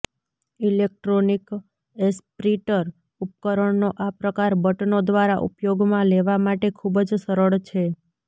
electronic aspirator ઉપકરણનો આ પ્રકાર બટનો દ્વારા ઉપયોગમાં લેવા માટે ખૂબ જ સરળ છે